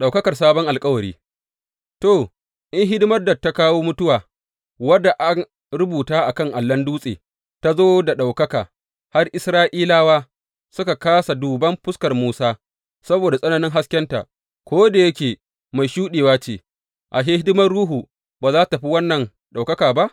Ɗaukakar sabon alkawari To, in hidimar da ta kawo mutuwa, wadda an rubuta a kan allon dutse, ta zo da ɗaukaka har Isra’ilawa suka kāsa duban fuskar Musa saboda tsananin haskenta, ko da yake mai shuɗewa ce, ashe, hidimar Ruhu ba za tă fi wannan ɗaukaka ba?